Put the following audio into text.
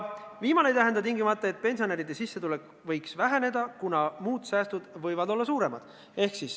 "Viimane ei tähenda tingimata, et pensionäride sissetulek võiks väheneda, kuna muud säästud võivad olla suuremad.